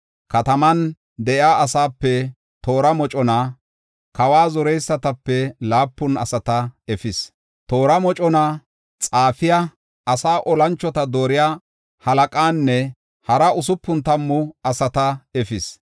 Kataman de7iya asaape toora mocona, kawa zoreysatape laapun asata efis. Toora mocona, xaafiya, asaa olanchota dooriya halaqanne hara usupun tammu asata efis.